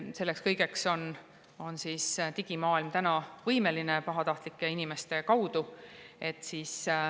Selleks kõigeks on digimaailm täna võimeline pahatahtlike inimeste tõttu.